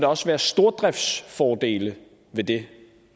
også være stordriftsfordele ved det